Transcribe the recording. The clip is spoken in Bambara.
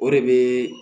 O de bɛ